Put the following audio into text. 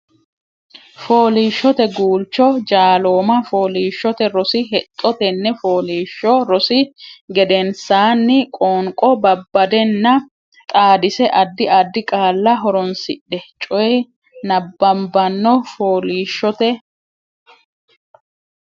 Fooliishshote Guulcho Jaalooma Fooliishshote Rosi Hexxo Tenne fooliishsho rosi gedensaanni Qoonqo babbaddenna xaadisse Addi addi qaalla horoonsidhe coy nabbabbanno Fooliishshote.